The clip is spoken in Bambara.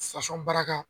baaraka